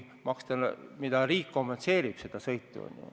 Riik ju kompenseerib seda sõitu.